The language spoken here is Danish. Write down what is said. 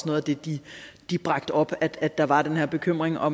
noget af det de de bragte op at der var den her bekymring og